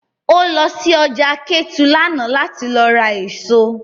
O lọ sí ọjà Kétu lánàá láti lọ ra èso